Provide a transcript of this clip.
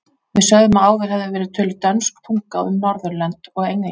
Við sögðum að áður hefði verið töluð dönsk tunga um Norðurlönd og England.